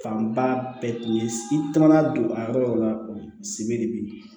Fanba bɛɛ tun ye i taama don a yɔrɔ la sebe de be yen